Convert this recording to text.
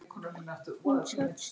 Hún sat stutt.